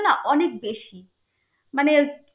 না অনেক বেশি. মানে